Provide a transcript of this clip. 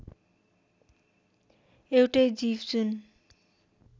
एउटै जीव जुन